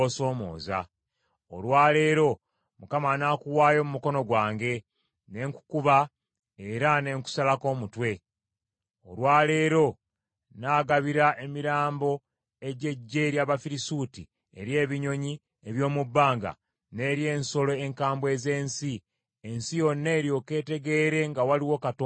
Olwa leero Mukama anaakuwaayo mu mukono gwange, ne nkukuba era ne nkusalako omutwe. Olwa leero nnaagabira emirambo egy’eggye ery’Abafirisuuti eri ebinyonyi eby’omu bbanga n’eri ensolo enkambwe ez’ensi, ensi yonna eryoke etegeere nga waliwo Katonda mu Isirayiri.